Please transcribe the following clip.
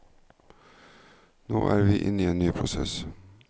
Nå er vi inne i en ny prosess.